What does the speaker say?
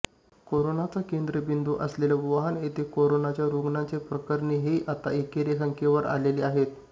कोरोनाचा केंद्रबिंदू असलेल्या वुहान येथे कोरोनाच्या रूग्णांची प्रकरणे ही आता एकेरी संख्येवर आलेली आहेत